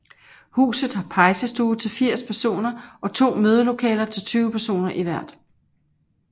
Huset har pejsestue til 80 personer og to mødelokaler til 20 personer i hvert